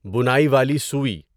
بُناٮٔی والی سُوی